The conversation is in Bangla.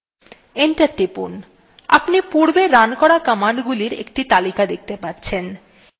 enter টিপুন আপনি পূর্বে রান করা কমান্ডগুলির একটি তালিকা দেখতে পাচ্ছেন